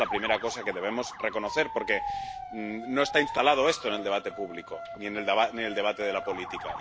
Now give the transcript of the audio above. Y esta es la primera cosa que debemos reconocer porque no está instalado esto en el debate público, ni en el debate de la política.